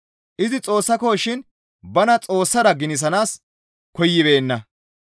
Izi Xoossakoshin bana Xoossara ginisanaas koyibeenna.